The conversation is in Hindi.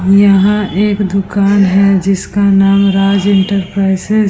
यह एक दूकान है जिसका नाम राज इंटरप्राइजेज --